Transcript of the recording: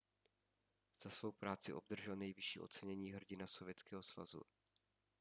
za svou práci obdržel nejvyšší ocenění hrdina sovětského svazu